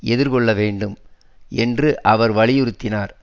எதிர்கொள்ள வேண்டும் என்று அவர் வலியுறுத்தினார்